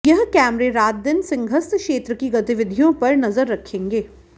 यह कैमरे रातदिन सिंहस्थ क्षेत्र की गतिविधियों पर नजर रखेंगे